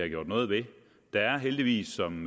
gjort noget ved der har heldigvis som